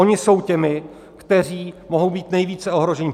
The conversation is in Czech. Oni jsou těmi, kteří mohou být nejvíce ohroženi.